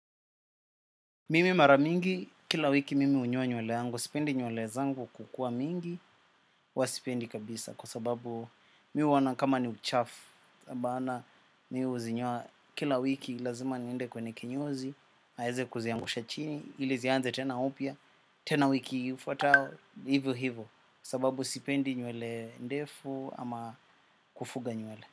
Mimi mara mingi, kila wiki mimi hunyoa nywele yangu, sipendi nywele zangu kukuwa mingi, huwa sipendi kabisa kwa sababu mimi huona kama ni uchafu bana mimi huzinyoa kila wiki lazima niende kwenye kinyozi, aeze kuziangusha chini, ili zianze tena upya, tena wiki ifuatao, hivyo hivyo sababu sipendi nywele ndefu ama kufuga nywele.